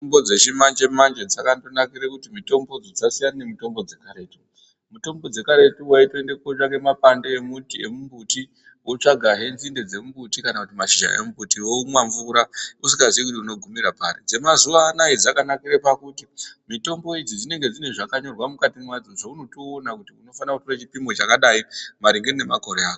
Mitombo dzechimanje manje dzakandonakira kuti mitombodzo dzasiyana nemitombo dzekaretu mitombo dzekaretu waitora mapande emuti emumbuti wotsvagahe nzinde dzembuti kana mashizha emumbuti womwa mvura usingazi kuti wogumira pari dzemazuva anaya dzakanakire pakuti mitombo idzi dzinenge dzine zvakanyorwa mukati zvaunotoona kuti unofana kutora chipimo chakadai maringe nemakore ako.